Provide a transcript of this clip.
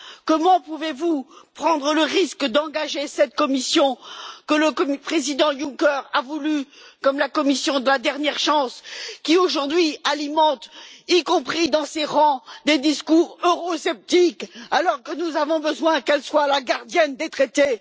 Comment pouvez vous prendre le risque d'engager cette Commission que le président Juncker a voulue comme celle de la dernière chance, qui aujourd'hui alimente, y compris dans ses rangs, des discours eurosceptiques, alors que nous avons besoin qu'elle soit la gardienne des traités?